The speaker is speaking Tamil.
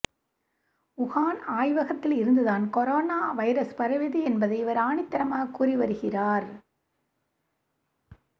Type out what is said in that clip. வுகான் ஆய்வகத்தில் இருந்துதான் கொரோனா வைரஸ் பரவியது என்பதை இவர் ஆணித்தரமாக கூறி வருகிறார்